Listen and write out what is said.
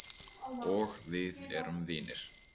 Og við erum vinir.